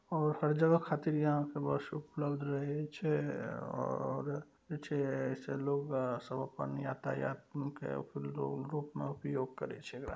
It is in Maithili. और हर जगह खातिर इहा पे बस उपलब्ध रहय छै। और ई सब लोग सब यातायात के रूप में उपयोग करय छै एकरा ----